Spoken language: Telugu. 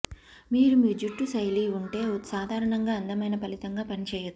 మీరు మీ జుట్టు శైలి ఉంటే సాధారణంగా అందమైన ఫలితంగా పనిచేయదు